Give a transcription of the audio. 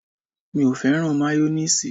Mi ò fẹ́ràn máyónéèsì